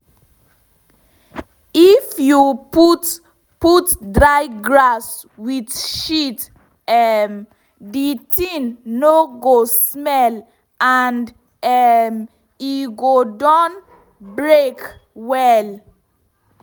if you put put dry grass with shit um the thing no go smell and um e go don break down well.